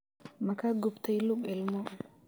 Ma ka gubtay lug ilmo?